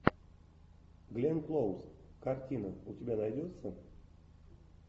гленн клоуз картина у тебя найдется